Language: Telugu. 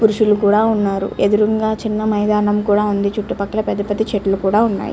పురుషులు కూడా ఉన్నారు ఎదురుగా చిన్న మైదానం కూడా ఉంది చుట్టూ పక్కల పెద్ద పెద్ద చెట్లు కూడా ఉన్నాయి.